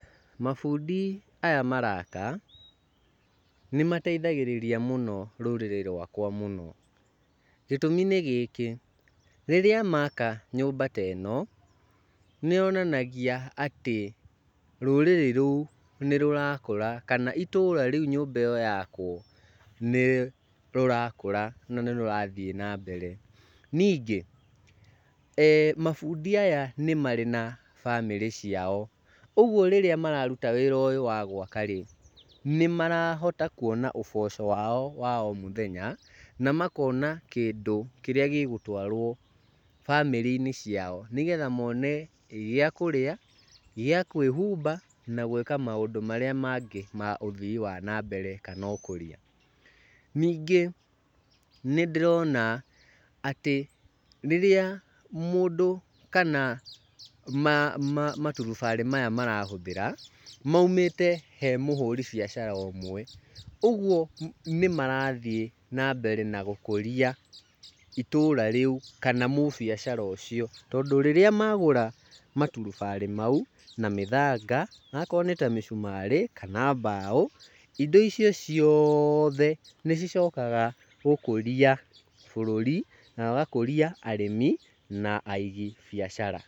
Mabundi aya maraka nĩmateithagĩrĩria mũno rũrĩrĩ rwakwa mũno. Gĩtũmi nĩ gĩkĩ, rĩrĩa maka nyũmba ta ĩno, nĩyonanagia atĩ rũrĩrĩ rũu nĩrũrakũra kana itũra rĩu nyũmba ĩyo yakwo, nĩrĩrakũra na nĩrũrathiĩ na mbere. Ningĩ mabundi aya nĩ marĩ na bamĩrĩ ciao, ũguo rĩrĩa mararuta wĩra ũyũ wa gwaka-rĩ, nĩmarahota kuona ũboco wao wa o mũthenya na makona kĩndũ kĩrĩa gĩgũtwarwo bamĩrĩ-inĩ ciao nĩgetha mone gĩa kũrĩa, gĩa kwĩhumba na gwĩka maũndũ marĩa mangĩ ma ũthii wa nambere kana ũkũria. Ningĩ nĩndĩrona atĩ rĩrĩa mũndũ kana maturubarĩ maya marahũthĩra maumĩte he mũhũri biacara ũmwe. Ũguo nĩmarathiĩ na mbere na gũkũria itũra rĩu kana mũbiacara ũcio. Tondũ rĩrĩa magũra maturubarĩ mau, na mĩthanga, okorwo nĩ ta mĩcumarĩ kana mbaũ, indo icio cioothe nĩcicokaga gũkũria bũrũri na ũgakũria arĩmi na aigi biacara.